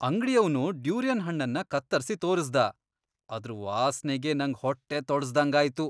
ಅಂಗ್ಡಿಯವ್ನು durian ಹಣ್ಣನ್ನ ಕತ್ತರ್ಸಿ ತೋರ್ಸ್ದ, ಅದ್ರ್ ವಾಸ್ನೆಗೇ ನಂಗ್ ಹೊಟ್ಟೆ ತೊಳಸ್ದಂಗಾಯ್ತು.